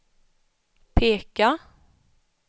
peka